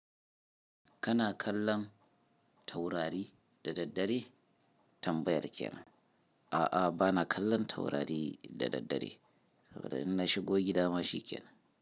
Kana kallon taurari da daddare? Tambayar kenan. A'a bana kallon taurari da daddare saboda in na shigo gida ma shiken.